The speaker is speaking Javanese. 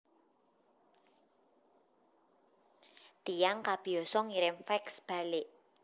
Tiyang kabiasa ngirim fax balik